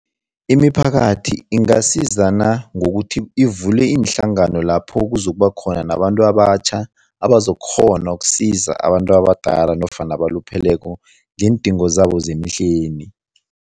Imiphakathi ingasizana ngokuthi ivule iinhlangano lapho kuzokuba khona nabantu abatjha abazokukghona ukusiza abantu abadala nofana abalupheleko ngeendingo zabo zemihleni.